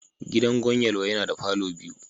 Gidan Gwan Yelwa yana da palour biyu